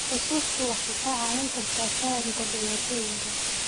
Xusuustu waxay kaa caawin kartaa fahamka dhibaatooyinka.